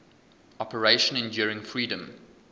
operation enduring freedom